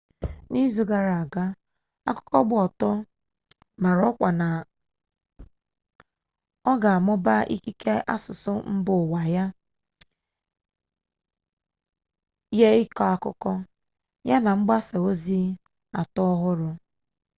n'izu gara aga akụkọ gba ọtọ mara ọkwa na ọ ga-amụba ikike asụsụ mba ụwa ya nye ịkọ akụkọ ya na mgbasa ozi atọ ọhụrụ